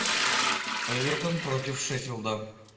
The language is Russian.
эвертон против шеффилда